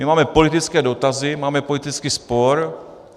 My máme politické dotazy, máme politický spor.